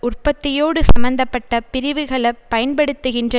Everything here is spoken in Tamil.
உற்பத்தியோடு சம்பந்த பட்ட பிரிவுகள பயன்படுத்துகின்ற